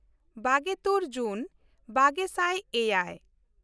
ᱵᱟᱜᱮᱼᱛᱩᱨ ᱡᱩᱱ ᱵᱟᱜᱮ ᱥᱟᱭ ᱮᱭᱟᱭ